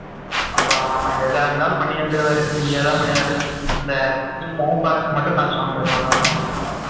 அப்போ, எதா இருந்தாலும் பண்ணி வந்துருவாரு. Free ஆதான் பண்ணுவாரு. இந்த ம் மட்டும் காசு வாங்குவாரு, அவ்வளவுதான்